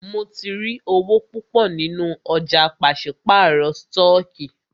Mó tí rí owó púpọ nínú ọ̀jà pàṣípàrọ̀ stọọkí.